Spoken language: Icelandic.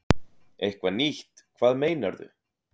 Eitthvað nýtt, hvað meinarðu?